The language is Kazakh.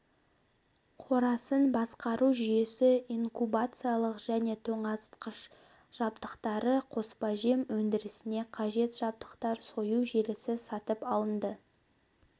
қорасын басқару жүйесі инкубациялық және тоңазытқыш жабдықтары қоспажем өндірісіне қажет жабдықтар сою желісі сатып алынды